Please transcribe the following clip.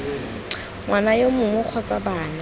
ngwana yo mongwe kgotsa bana